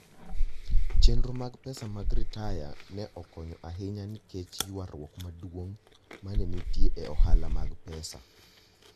Chenro mag pesa mag ritaya ne okonyo ahinya nikech ywaruok maduong' ma ne nitie e ohala mag pesa.